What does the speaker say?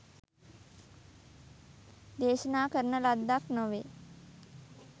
දේශනා කරන ලද්දක් නොවේ.